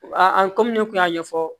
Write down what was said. an ko ne kun y'a ɲɛfɔ